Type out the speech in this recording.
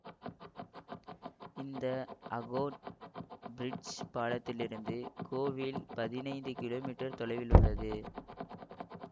இந்த அகோர் ப்ரிட்ஜ் பாலத்திலிருந்து கோவில் பதினைந்து கீழோ மீட்டர் தொலைவிலுள்ளது